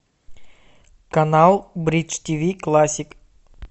канал бридж тв классик